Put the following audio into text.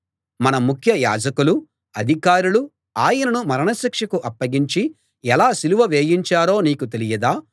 మన ముఖ్య యాజకులూ అధికారులూ ఆయనను మరణశిక్షకు అప్పగించి ఎలా సిలువ వేయించారో నీకు తెలియదా